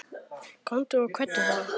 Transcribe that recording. Komdu og kveddu þá.